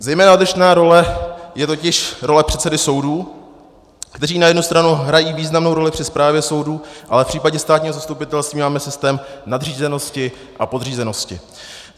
Zejména odlišná role je totiž role předsedy soudů, kteří na jednu stranu hrají významnou roli při správě soudů, ale v případě státního zastupitelství máme systém nadřízenosti a podřízenosti.